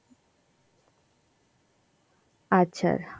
আচ্ছা.